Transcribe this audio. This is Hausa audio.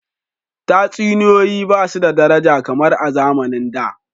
Tatsuniyoyi ba su da daraja kamar a zamanin da.